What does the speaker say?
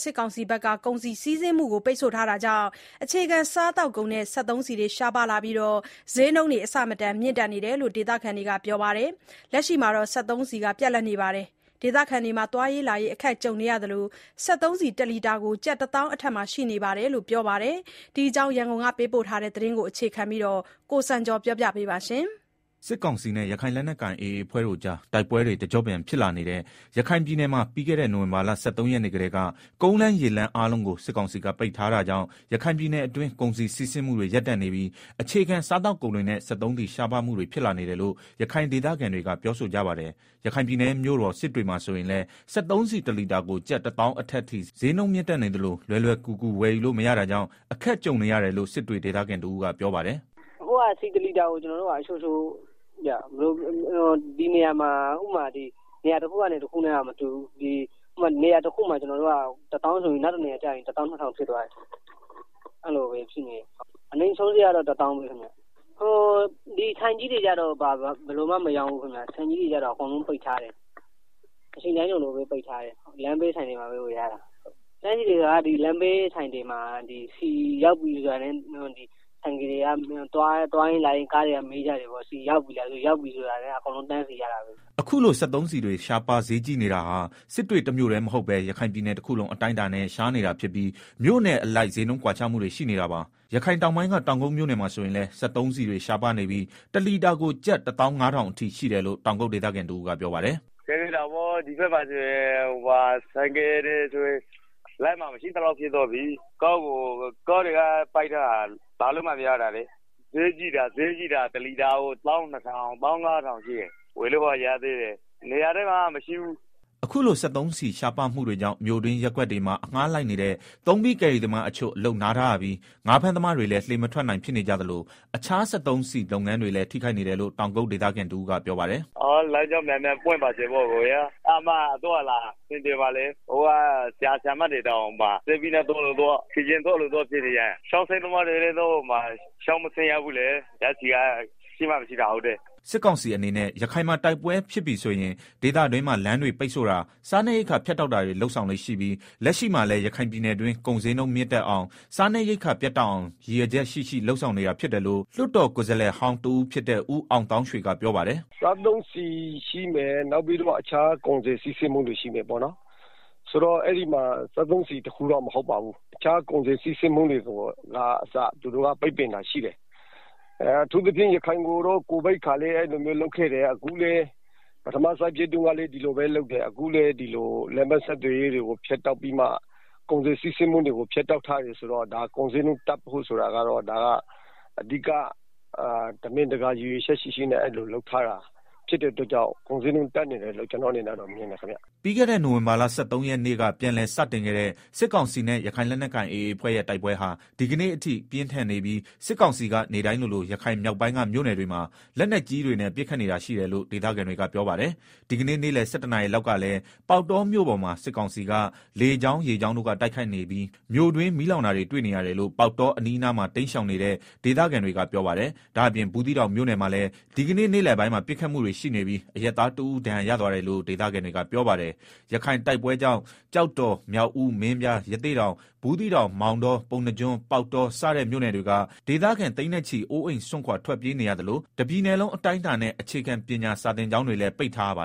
စစ်ကောင်စီက ကုန်စည်စီးဆင်းမှုတွေကို ပိတ်ထားတာကြောင့် အခြေခံ စားသောက်ကုန်တွေနဲ့ စက်သုံးဆီတွေ ရှားပါးလာနေပြီး စျေးနှုန်းအဆမတန် မြင့်တက်နေတယ်လို့ ဒေသခံတွေက ပြောပါတယ်။ လက်ရှိမှာတော့ စက်သုံးဆီတွေ ပြတ်လပ်နေပြီး ဒေသခံတွေ သွားရေးလာရေး အခက်ကြုံနေရသလို စက်သုံးဆီ တလီတာကို ကျပ် ၁၀,၀၀၀ အထက်မှာ ရှိတယ်လို့ ဒေသခံတွေက ပြေဆိုကြပါတယ်။ ဒီအကြောင်း ရန်ကုန်ကပေးပို့တဲ့သတင်းကို အခြေခံပြီး ကိုစံကျော်က တင်ပြပေးပါမယ်။ စစ်ကောင်စီနဲ့ ရခိုင်လက်နက်ကိုင် AAအဖွဲ့တို့အကြား တိုက်ပွဲတွေ တကျော့ပြန်ဖြစ်လာနေတဲ့ ရခိုင်ပြည်နယ်မှာ ပြီးခဲ့တဲ့ နိုဝင်ဘာလ ၁၃ရက်နေ့ကတည်းက ကုန်းလမ်းရေလမ်း အားလုံးကို စစ်ကောင်စီက ပိတ်ထားတာကြောင့် ရခိုင်ပြည်နယ်အတွင်း ကုန်စည်စီးဆင်းမှုတွေ ရပ်တန့်နေပြီး အခြေခံစားသောက်ကုန်တွေနဲ့ စက်သုံးဆီ ရှားပါးမှုတွေ ဖြစ်လာနေတယ်လို့ ရခိုင်ဒေသခံတွေက ပြောဆိုကြပါတယ်။ ရခိုင်ပြည်နယ်ရဲ့မြို့တော် စစ်တွေမှာဆိုရင်လည်း စက်သုံးဆီ တလီတာကို ကျပ် ၁၀,၀၀၀ အထက်အထိ စျေးနှုန်း မြင့်တက်နေသလို လွယ်လွယ်ကူကူ ဝယ်ယူလို့မရဘူးတာကြောင့် အခက်ကြုံရတယ်လို့ စစ်တွေ ဒေသခံတဦးက ပြောပါတယ်။ “အခုက ဆီတလီတာကို နေရာတခုနဲ့ တခုတော့ မတူဘူးဗျာ၊ နေရာခုမှာ တလီတာကို ၁ဝ,ဝဝဝဆိုရင် နောက်တနေရာမှာ ၁၂,ဝဝဝ ဖြစ်သွားတယ်။ အဲလိုဖြစ်နေတယ်။ အနိမ့်ဆုံးစျေးကတော့ ၁ဝ,ဝဝဝ ဗျာ။ ဆိုင်ကြီးတွေကတော့ မရောင်းဘူး၊ အကုန်လုံးပိတ် ထားတယ်။ အချိန်တိုင်း ပိတ်ထားတယ်။ လမ်းဘေးဆိုင်တွေမှာ ဝယ်ရတာ။ လမ်းဘေးဆိုင်တွေမှာ ဆီရောက်ပြီဆိုတာနဲ့ အကုန်လုံး တန်စီပြီးဝယ်ရတာပါပဲ။” အခုလို စက်သုံးဆီတွေ ရှားပါးစျေးကြီးနေတာဟာ စစ်တွေတမြို့တည်းမဟုတ်ပဲ ရခိုင်ပြည်နယ်တခုလုံး အတိုင်းအတာနဲ့ ရှားနေတာဖြစ်ပြီး မြို့နယ်အလိုက် စျေးနှုန်း ကွာခြားမှုတွေ ရှိနေတာပါ။ ရခိုင်တောင်းပိုင်းက တောင်ကုတ်မြို့နယ်မှာဆိုရင်လည်း စက်သုံးတွေရှားပါးနေပြီး တလီတာကို ကျပ် ၁၅,ဝဝဝအထိ ရှိတယ်လို့ တောင်ကုတ်ဒေသခံတဦးက ပြောပါတယ်။ “ခက်ခဲတာပေါ့၊ ဒီဖက်မှာ ဆိုင်ကယ်တွေဆိုရင် လမ်းမှာ မရှိသလောက်နည်းသွားပြီ။ ကားလမ်းတွေ ပိတ်ထားတော့ ဆီကားတွေ လာလို့မရဘူး၊ စျေးကြီးတာလည်း တလီတာကို ၁၂,၀၀၀၊ ၁၅,ဝဝဝ အထိ ရှိတယ်။ ဝယ်လို့တော့ ရသေးတယ်။ နေရာတိုင်းမှာတော့ မရဘူး။” အခုလို စက်သုံးဆီရှားပါးမှုတွေကြောင့် မြို့တွင်း ရပ်ကွက်တွေမှာ အငှားလိုက်နေတဲ့ သုံးဘီး ကယ်ရီသမားတချို့ အလုပ်နားထားရသလို ငါးဖမ်းသမားတွေလည်း လှေမထွက်နိုင် ဖြစ်နေကြသလို တခြားစက်သုံးဆီသုံး လုပ်ငန်းတွေလည်း ထိခိုက်နေတယ်လို့ တောင်ကုတ် ဒေသခံ တဦးကပြောပါတယ်။ “လမ်းကြောင်းမြန်မြန် ပွင့်ပါစေဗျာ။ အဲဒါမှ သွားရလာရ အဆင်ပြေမှာ။ အခုက ဆရာဆရာမတွေတောင် စက်ဘီးနဲ့ သွားလို့သွား၊ ခြေလျင်သွားလို့သွား ဖြစ်နေကြတယ်။ ငါးဖမ်းသမား တွေလည်း ချောင်းမဆင်းရဘူး၊ ဓာတ်ဆီက မရှိတော့လေ။” စစ်ကောင်စီအနေနဲ့ ရခိုင်မှာတိုက်ပွဲဖြစ်ပြီဆိုရင် ဒေသတွင်းမှာ လမ်းတွေပိတ်ဆို့တာ၊ စားနပ်ရိက္ခာဖြတ်တာတွေ လုပ်ဆောင်လေ့ရှိပြီး လက်ရှိမှာလည်း ရခိုင်ပြည်တွင်း ကုန်စျေးနှုန်းမြင့်တက်အောင် စားနပ်ရိက္ခာ ပြတ်တောက်အောင် ရည်ရွယ်ချက်ရှိရှိ လုပ်ဆောင်နေတာ ဖြစ်တယ်လို့ လွတ်တော်ကိုယ်စားလှယ်ဟောင်း တဦးဖြစ်တဲ့ ဦးအောင်သောင်းရွှေက ပြောပါတယ်။ “စက်သုံးဆီရှိမယ်၊ နောက်ပြီးတော့ အခြားကုန်စည်စီးဆင်းမှုတွေ ရှိမယ်၊ ဆိုတော့ အဲဒီမှာ စက်သုံးဆီတခုတည်းတော့ မဟုတ်ပါဘူး။ အခြား ကုန်စည်ဆီးဆင်းမှုတွေကအစ ပိတ်ပင်တာရှိတယ်။ အထူးသဖြင့် ရခိုင်ကို ကိုဗစ်ကာလတုန်းကလည်း အဲလိုလုပ်ခဲ့တယ်။ ပထမ စစ်ပွဲတုန်း ကလည်း ဒီလိုပဲလုပ်တယ်။ အခုလည်း ဒီလို လမ်းပန်းဆက်သွယ်ရေးတွေကို ဖြတ်တောက်ပြီးမှ ကုန်စည်စီးဆင်းမှုတွေကို ဖြတ်တောက် ထားတယ်ဆိုတော့ ကုန်စျေးနှုန်းတက်တာက၊ တမင်တကာ ရည်ရွယ်ချက်ရှိရှိ လုပ်ထားတာဖြစ်တဲ့အတွက် ကုန်စျေးနှုန်းတွေ တက်နေတာလို့ ကျနော် မြင်တယ်ခင်ဗျ။” ပြီးခဲ့တဲ့ နိုင်ဝင်ဘာလ ၁၃ရက်နေ့က ပြန်လည်စတင်ခဲ့တဲ့ စစ်ကောင်စီနဲ့ ရခိုင်လက်နက်ကိုင် AA အဖွဲ့ရဲ့ တိုက်ပွဲဟာ ဒီကနေ့အထိ ပြင်းထန်နေပြီး စစ်ကောင်စီက နေ့တိုင်းလိုလို ရခိုင်မြောက်ပိုင်းက မြို့နယ်တွေမှာ လက်နက်ကြီးတွေနဲ့ ပစ်ခတ်နေတာရှိတယ်လို့ ဒေသခံတွေက ပြောပါတယ်။ ဒီကနေ့ နေ့လည် ၁၁နာရီ လောက်ကလည်း ပေါက်တောမြို့ပေါ်မှာ စစ်ကောင်စီက လေကြောင်း၊ ရေကြောင်းတို့က တိုက်ခိုက်နေပြီး မြို့တွင်း မီလောင်တာတွေ တွေ့ရတယ်လို့ ပေါက်တောအနီး အနားမှာ တိမ်းရှောင်နေတဲ့ ဒေသခံတွေက ပြောပါတယ်။ ဒါ့အပြင် ဘူးသီးတောင် မြို့နယ်မှာလည်း ဒီကနေ့လည်ပိုင်းမှာ ပစ်ခတ်မှုတွေ ရှိနေပြီး အရပ်သားတဦး ဒဏ်ရာရသွားတယ်လို့ ဒေသခံတွေက ပြောပါတယ်။ ရခိုင်တိုက်ပွဲကြောင့် ကျောက်တော်၊ မြောက်ဦး၊ မင်းပြား၊ ရသေ့တောင်၊ ဘူးသီးတောင်၊ မောင်တော၊ ပုဏ္ဏားကျွန်း၊ ပေါက်တော စတဲ့ မြို့နယ်တွေက ဒေသခံ သိန်းနဲ့ချီ အိုးအိမ်စွန့်ခွာ ထွက်ပြေးနေရသလို တပြည်နယ်လုံးအတိုင်းအတာနဲ့ အခြေခံပညာ စာသင်ကျောင်းတွေလည်း ပိတ်ထားရပါ